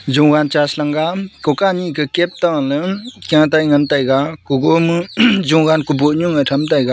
jowan chash langga ku ka ni ke kep tana chatai ngan teiga kubo ma jowan kuboh nu ma tham tega.